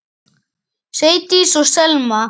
Sædís og Selma.